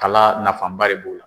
Kala nafaba de b'o la